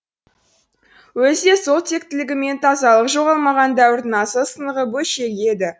өзі де сол тектілігі мен тазалығы жоғалмаған дәуірдің асыл сынығы бөлшегі еді